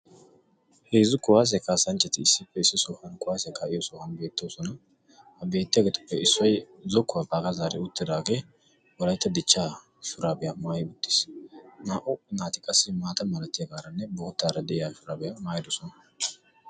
Heezzu kuwassiya kaassanchchati issippe issi sohuwa kuwassiya kaa'iyo sohuwan beettoosona. Ha beetiyaageeti issoy zokkuwa baaga zaari uttidaage Wolaytta dichchaa shurabiya maayti uttiis. naa"u naati qassi maata malatiyaagaranne boottara de'iya shuraabiya maatyidoosona.